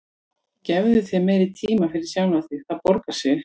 Gefðu þér meiri tíma fyrir sjálfan þig, það borgar sig.